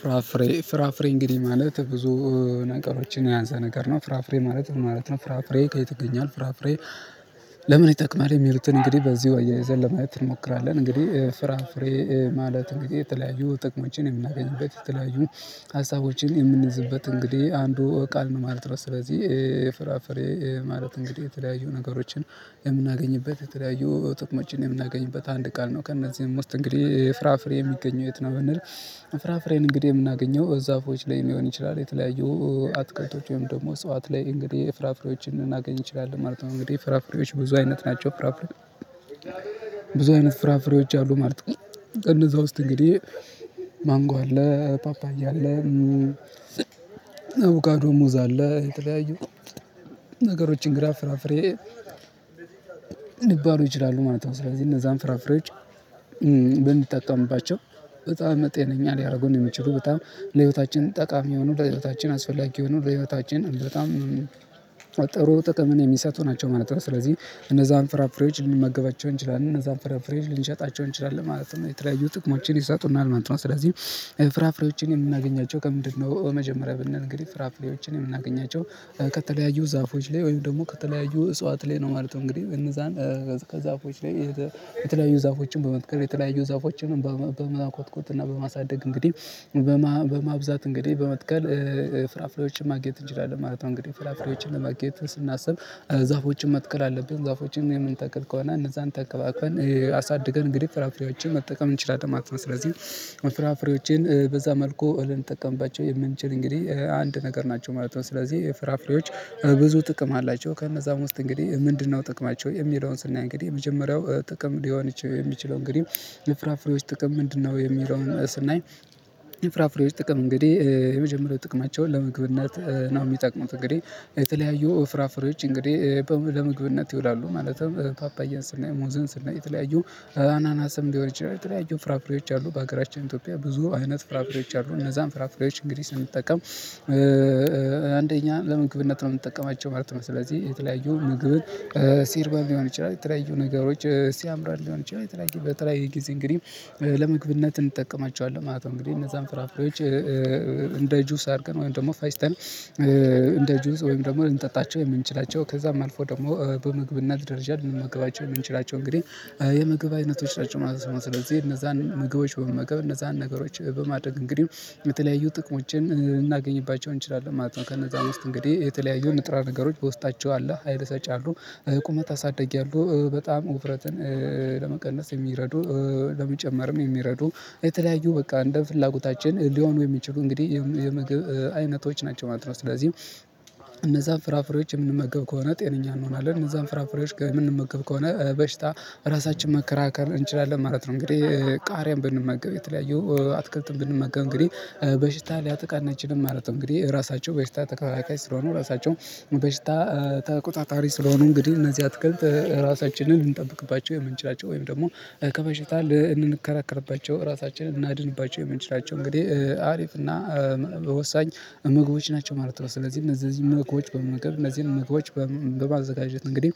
ፍራፍሬ ፍራፍሬ እንግዲህ ማለት ብዙ ነገሮችን የያዘ ነገር ነው። ፍራፍሬ ማለት ምን ማለት ነው? ፍራፍሬ ከየት ይገኛል? ፍራፍሬ ለምን ይጠቅማል? የሚሉትን እንግዲህ በዚርው አያይዘን ለማየት እንሞክራለን። እንግዲህ ፍራፍሬ ማለት እንግዲህ የተለያዩ ጥቅሞችን የምናገኝበት የተለያዩ ሀሳቦችን የምንይዝበት እንግዲህ አንዱ ቃል ነው ማለት ነው። ስለዚህ ፍራፍሬ ማለት እንግዲህ የተለያዩ ነገሮችን የምናገኝበት የተለያዩ ጥቅሞችን የምናገኝበት አንድ ቃል ነው ከእነዚህም ውስጥ እንግዲህ ፍራፍሬ የሚገኘው የት ነው ብንል? ፍራፍሬን እንግዲህ የምናገኘው ዛፎች ላይ ሊሆን ይችላል። የተለያዩ አትክልቶች ወይም ደግሞ እጽዋት ላይ እንግዲህ ፍራፍሬዎችን ልናገኝ እንችላለን ማለት ነው። እንግዲህ ፍራፍሬዎች ብዙ አይነት ናቸው። ፍራፍሬ ብዙ አይነት ፍራፍሬዎች አሉ ማለት ነው። እነዛ ውስጥ እንግዲህ ማንጎ አለ። ፓፓያ አለ። አቮካዶ ሙዛ አለ የተለያዩ ነገሮችን ግራ ፍራፍሬ ሊበሉ ይችላሉ ማለት ነው። ስለዚህ እነዛን ፍራፍሬዎች በንጠቀምባቸው በጣም ጤነኛ ሊያደርጉን የሚችሉ በጣም ለህይወታችን ጠቃሚ የሆኑ ለህይወታችን አስፈላጊ የሆኑ ለህይወታችን በጣም ጥሩ ጥቅምን የሚሰጥ ናቸው ማለት ነው። ስለዚህ እነዛን ፍራፍሬጅ ልንመገባቸው እንችላለን እነዛን ፍራፍሬዋች ልንሸጣቸው እንችላለን ማለት ነው። የተለያዩ ጥቅሞችን ይሰጡናል ማለት ነው። ስለዚህ ፍራፍሬዎችን የምናገኛቸው ከምንድነው? በመጀመሪያ ብንል እንግዲህ ፍራፍሬዎችን የምናገኛቸው ከተለያዩ ዛፎች ላይ ወይም ደግሞ ከተለያዩ እጽዋት ላይ ነው ማለት ነው። እንግዲህ እነዛን ከዛፎች ላይ የተለያዩ ዛፎችን በመትከል የተለያዩ ዛፎችን በመኮትኮት እና በማሳደግ እንግዲህ በማብዛት እንግዲህ በመትከል ፍራፍሬዎችን ማግኘት እንችላለን ማለት ነው። እንግዲህ ፍራፍሬዎችን ለማግኘት ስናስብ ዛፎችን መትከል አለብን። ዛፎችን የምንተክል ከሆነ እነዛን ተንከባክበን አሳድገን እንግዲህ ፍራፍሬዎችን መጠቀም እንችላለን ማለት ነው። ስለዚህ ፍራፍሬዎቼን በዛ መልኩ ልንጠቀምባቸው የምንችል እንግዲህ አንድ ነገር ናቸው ማለት ነው። ስለዚህ ፍራፍሬዎች ብዙ ጥቅም አላቸው። ከእነዛም ውስጥ እንግዲህ ምንድነው ጥቅማቸው የሚለውን ስናይ እንግዲህ የመጀመሪያው ጥቅም ሊሆን የሚችለው እንግዲህ ፍራፍሬዎች ጥቅም ምንድነው የሚለውን ስናይ? ፍራፍሬዎች ጥቅም እንግዲህ የመጀመሪያው ጥቅማቸውን ለምግብነት ነው። የሚጠቅሙት እንግዲህ የተለያዩ ፍራፍሬዎች እንግዲህ ለምግብነት ይውላሉ። ማለትም ፓፓየን ስናይ ሙዝን ስናይ የተለያዩ አናናስም ሊሆን ይችላል። የተለያዩ ፍራፍሬዎች አሉ በሀገራችን ኢትዮጵያ ብዙ አይነት ፍራፍሬዎች አሉ። እነዛን ፍራፍሬዎች እንግዲህ ስንጠቀም አንደኛ ለምግብነት ነው የምንጠቀማቸው ማለት ነው። ስለዚህ የተለያዩ ምግብ ሲርበን ሊሆን ይችላል የተለያዩ ነገሮች ሲያምረን ሊሆነ የተለያየ በተለያየ ጊዜ እንግዲህ ለምግብነት እንጠቀማቸዋለን ማለት ነው። እንግዲህ እነዛን ፍራፍሬዎች እንደ ጁስ አድርገን ወይም ደግሞ ፈጭተን እንደ ጁስ ወይም ደግሞ ልንጠጣቸው የምንችላቸው ከዛም አልፎ ደግሞ በምግብነትና ደረጃ ልንመግባቸው የምንችላቸው እንግዲህ የምግብ አይነቶች ናቸው ማለት ነው። ስለዚህ እነዛን ምግቦች በመመገብ እነዛን ነገሮች በማድረግ እንግዲህ የተለያዩ ጥቅሞችን ልናገኝባቸው እንችላለን ማለት ነው። ከነዛም ውስጥ እንግዲህ የተለያዩ ንጥረ ነገሮች በውስጣቸው አለ ሀይል ሰጪ አሉ። ቁመት አሳድጊያለሁ በጣም ውፍረትን ለመቀነስ የሚረዱ ለመጨመርም የሚረዱ የተለያዩ በቃ እንደ ፍላጎታችን ሊሆኑ የሚችሉ እንግዲህ የምግብ አይነቶች ናቸው ማለት ነው። ስለዚህ እነዛን ፍራፍሬዎች የምንመገብ ከሆነ ጤነኛ እንሆናለን። እነዛን ፍራፍሬዎች የምንመገብ ከሆነ በሽታ ራሳችንን መከራከር እንችላለን ማለት ነው። እንግዲህ ቃሪያን ብንመገብ የተለያየው አትክልትም ብንመገብ እንግዲህ በሽታ ሊያጥቃናችንም ማለት ነው። እንግዲህ ራሳቸው በሽታ ተከላካይ ስለሆኑ ራሳቸው በሽታ ተቆጣጣሪ ስለሆኑ እንግዲህ እነዚህ አትከልት ራሳችንን ልንጠብቅባቸው የምንችላቸው ወይም ደግሞ ከበሽታ ልንከራከርባቸው ራሳችንን እናድንባቸው የምንችላቸው እንግዲህ አሪፍ እና በወሳኝ ምግቦች ናቸው ማለት ነው። ስለዚህ እነዚህ ምግቦች በመመገብ እነዚህን ምግቦች በማዘጋጀት እንግዲህ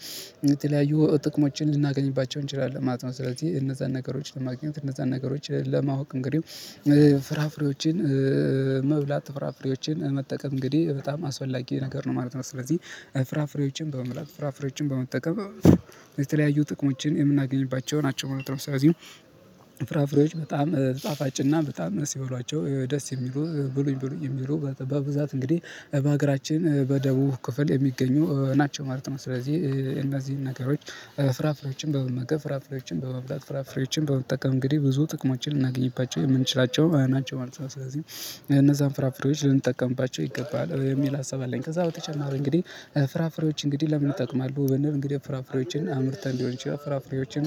የተለያዩ ጥቅሞችን ልናገኝባቸው እንችላለን ማለት ነው። ስለዚህ እነዛን ነገሮች ለማግኘት እነዛን ነገሮች ለማወቅ እንግዲህ ፍራፍሬዎችን መብላት ፍራፍሬዎችን መጠቀም እንግዲህ በጣም አስፈላጊ ነገር ነው ማለት ነው። ስለዚህ ፍራፍሬዎችን በመምረጥ ፍራፍሬዎችን በመጠቀም የተለያዩ ጥቅሞችን የምናገኝባቸው ናቸው ማለት ነው። ስለዚህ ፍራፍሬዎች በጣም ጣፋጭና በጣም ደስ የሚበሏቸው ደስ የሚሉ ብሉኝ ብሉኝ የሚሉ በብዛት እንግዲህ በሀገራችን በደቡብ ክፍል የሚገኙ ናቸው ማለት ነው። ስለዚህ እነዚህን ነገሮች ፍራፍሬዎችን በመመገብ ፍራፍሬዎችን በመብላት ፍራፍሬዎችን በመጠቀም እንግዲህ ብዙ ጥቅማችን ልናገኝባቸው የምንችላቸው ናቸው ማለት ነው። ስለዚህ እነዛን ፍራፍሬዎች ልንጠቀምባቸው ይገባል የሚል ሀሳብ አለኝ። ከዛ በተጨማሪ እንግዲህ ፍራፍሬዎች እንግዲህ ለምን ይጠቅማሉ? በንል እንግዲህ ፍራፍሬዎችን አምርተን ሊሆን ይችላል ፍራፍሬዎችን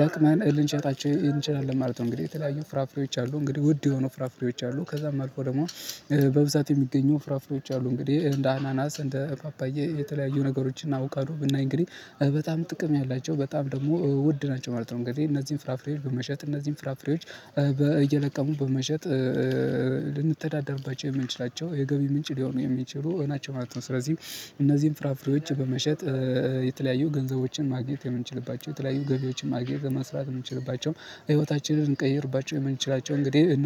ለቅመን ልንሸጣቸው እንችላለን ማለት ነው። እንግዲህ የተለያዩ ፍራፍሬዎች አሉ እንግዲህ ውድ የሆኑ ፍራፍሬዎች አሉ። ከዛም አልፎ ደግሞ በብዛት የሚገኙ ፍራፍሬዎች አሉ። እንግዲህ እንደ አናናስ እንደ ፓፓዬ የተለያዩ ነገሮችን አቡካዱ ብናይ እንግዲህ በጣም ጥቅም ያላቸው በጣም ደግሞ ውድ ናቸው ማለት ነው። እንግዲህ እነዚህን ፍራፍሬዎች በመሸጥ እነዚህን ፍራፍሬዎች እየለቀሙ በመሸጥ ልንተዳደርባቸው የምንችላቸው የገቢ ምንጭ ሊሆኑ የሚችሉ ናቸው ማለት ነው። ስለዚህ እነዚህን ፍራፍሬዎች በመሸጥ የተለያዩ ገንዘቦችን ማግኘት የምንችልባቸው የተለያዩ ገቢዎችን ማግኘት መስራት የምንችልባቸው ህይወታችንን ልንቀይርባቸው የምንችላቸው እንግዲህ እነዚህ